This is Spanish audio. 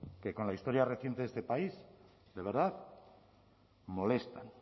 que con la historia reciente de este país de verdad molestan